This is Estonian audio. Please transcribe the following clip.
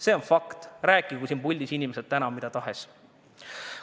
See on fakt, rääkigu inimesed siin puldis täna mida tahes.